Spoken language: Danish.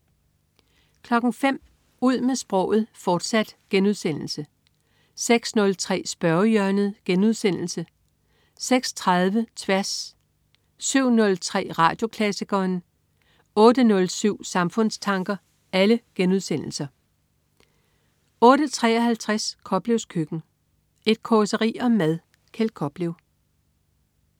05.00 Ud med sproget, fortsat* 06.03 Spørgehjørnet* 06.30 Tværs* 07.03 Radioklassikeren* 08.07 Samfundstanker* 08.53 Koplevs Køkken. Et causeri om mad. Kjeld Koplev